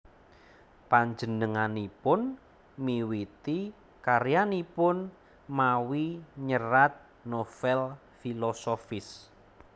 Panjenenganipun miwiti karyanipun mawi nyerat novèl filosofis